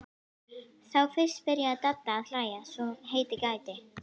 Þá fyrst byrjaði Dadda að hlæja svo heitið gæti.